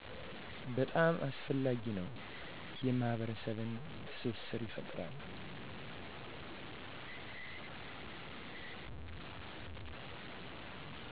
በጣም አስፈላጊ ነው የማህበረሰብ ትስስርን ይፈጥራል